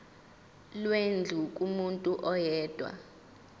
lwendlu kumuntu oyedwa